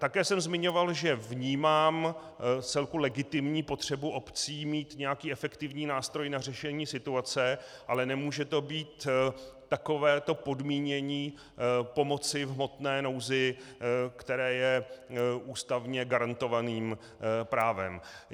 Také jsem zmiňoval, že vnímám vcelku legitimní potřebu obcí mít nějaký efektivní nástroj na řešení situace, ale nemůže to být takovéto podmínění pomoci v hmotné nouzi, které je ústavně garantovaným právem.